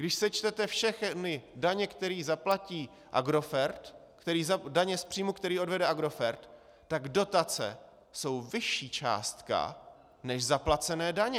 Když sečtete všechny daně, které zaplatí Agrofert, daně z příjmu, které odvede Agrofert, tak dotace jsou vyšší částka než zaplacené daně.